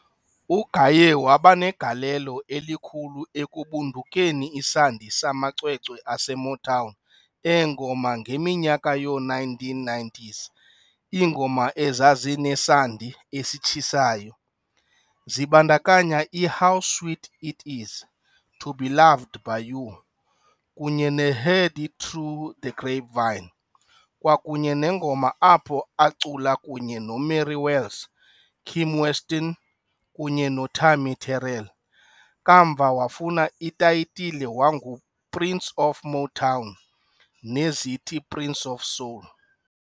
UGaye waba negalelo elikhulu ekubundukeni isandi samacwecwe ase Motown eengoma ngeminyaka yoo1990s iingoma ezazinesandi esitshisayo, zibandakanya i-"How Sweet It Is, To Be Loved By You" kunye ne"Heard It Through the Grapevine", kwakunye nengoma apho acula kunye noMary Wells, Kim Weston kunye noTammi Terrell, kamva wafuna itayitile wangu "Prince of Motown" nezithi "Prince of Soul".